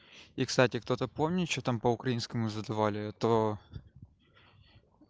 и кстати кто-то помнит что там по украинскому задавали а то